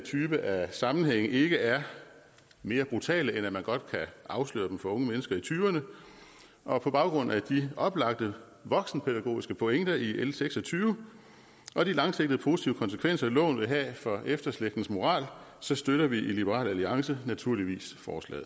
type af sammenhænge ikke er mere brutale end at man godt kan afsløre dem for unge mennesker i tyverne og på baggrund af de oplagte voksenpædagogiske pointer i l en seks og tyve og de langsigtede positive konsekvenser loven vil have for efterslægtens moral så støtter vi i liberal alliance naturligvis